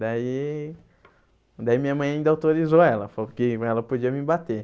Daí daí minha mãe ainda autorizou ela, falou que ela podia me bater.